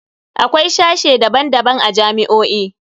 Akwai sashe daban-daban a jami'o'i.